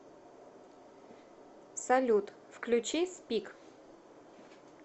салют включи спик